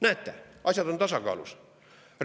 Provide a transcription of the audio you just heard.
Näete, asjad on tasakaalus!